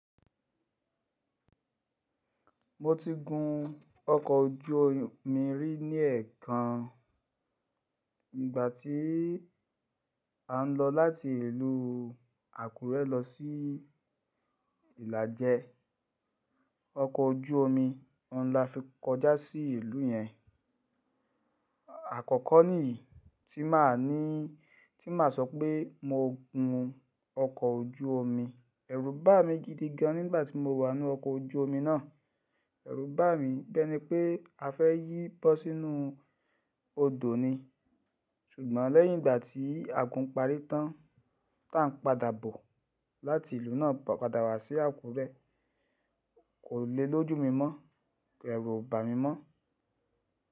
Mo ti gun ọkọ̀ ojú omi rí ní èkan ìgbà tí à ń lọ láti ìlú Àkúrẹ́ lọ sí Ìlàjẹ. Ọkọ̀ ojú omi ọ̀ ń lafi kọjá sí ìlú yẹn. Àkọ́kọ́ nìyí tí mà ní tí mà sọ pé mo gun ọkọ̀ ojú omi. Ẹ̀rù bá mi gidi gan nígbà tí mo wà nú ọkọ̀ ojú omi náà. Ẹ̀rù bá mi bẹ́ni pé a fẹ́ yí bọ́ sínú odò ni. Ṣùgbọ́n lẹ́yìn ìgbà tí a gun parí tán, tá ń padà bọ̀ láti ìlú náà padà wá sí Àkúrẹ́, kò le lójú mi mọ́. Ẹ̀rù ò bá mi mọ́.